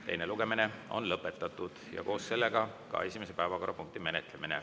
Teine lugemine on lõpetatud ja koos sellega ka esimese päevakorrapunkti menetlemine.